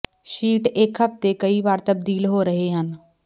sheet ਇੱਕ ਹਫ਼ਤੇ ਕਈ ਵਾਰ ਤਬਦੀਲ ਹੋ ਰਹੇ ਹਨ